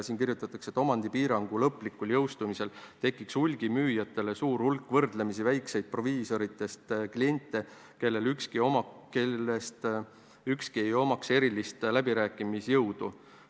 Siin kirjutatakse, et omandipiirangu lõplikul jõustumisel tekiks hulgimüüjatele suur hulk võrdlemisi väikseid proviisoritest kliente, kellest ükski ei omaks erilist läbirääkimisjõudu.